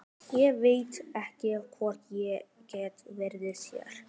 Ég veit ekki hvort ég get fyrirgefið þér.